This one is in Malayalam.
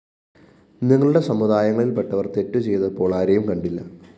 നിങ്ങളുടെ സമുദായങ്ങളില്‍പ്പെട്ടവര്‍ തെറ്റുചെയ്തപ്പോള്‍ ആരെയും കണ്ടില്ല